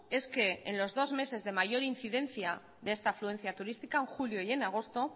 es que en los dos meses de mayor incidencia de esta afluencia turística en julio y en agosto